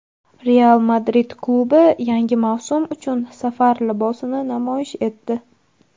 "Real Madrid" klubi yangi mavsum uchun safar libosini namoyish etdi.